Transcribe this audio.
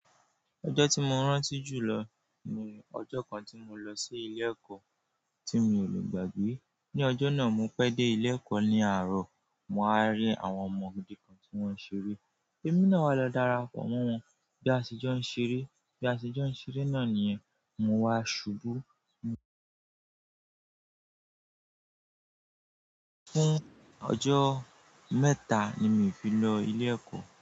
Ọjọ́ tí mo ń rántí jù lọ ni ọjọ́ kan tí mo lọ sí ilé ẹ̀kọ́ tí mi ò lè gbàgbé. Ni ọjọ́ náà, mo pẹ́ dé ilé ẹ̀kọ́ ní àárọ̀. Mo wa rí àwọn ọmọ òdì kan tí wọ́n ń ṣeré. Èmi náà wa lọ dara pọ̀ mọ́ wọn. Bí aṣẹ́jọ́ ń ṣeré, bí aṣẹ́jọ́ ń ṣeré náà nìyẹn, mo wá ṣubú. Fún ọjọ́ mẹ́ta ni mi ò fi lọ ilé ẹ̀kọ́